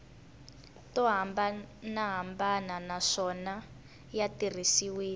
to hambanahambana naswona ya tirhisiwile